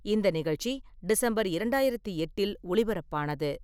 இந்த நிகழ்ச்சி டிசம்பர் இரண்டாயிரத்தி எட்டில் ஒளிபரப்பானது.